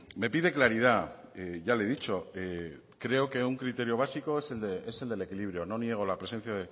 me pide claridad ya le he dicho creo que un criterio básico es el del equilibrio no niego la presencia